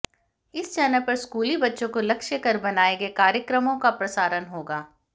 इस चैनल पर स्कूली बच्चों को लक्ष्य कर बनाए गए कार्यक्रमों का प्रसारण होगा